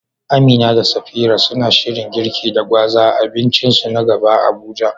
Amina da Safira suna shirin girki da gwaza a abincinsu na gaba a Abuja?